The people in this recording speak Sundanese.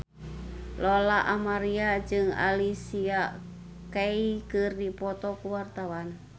Lola Amaria jeung Alicia Keys keur dipoto ku wartawan